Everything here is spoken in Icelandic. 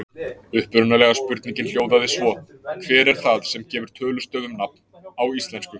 Upprunalega spurningin hljóðaði svo: Hver er það sem gefur tölustöfum nafn á íslensku?